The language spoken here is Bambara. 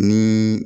Ni